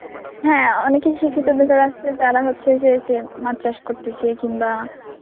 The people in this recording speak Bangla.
হ্যাঁ অনেকেই শিক্ষিত বেকাররা আসলে যারা হচ্ছে যে সে মাছ চাষ করতেছে কিংবা